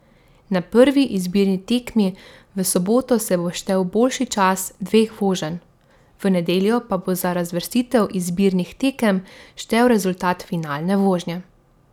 Na prvi izbirni tekmi v soboto se bo štel boljši čas dveh voženj, v nedeljo pa bo za razvrstitev izbirnih tekem štel rezultat finalne vožnje.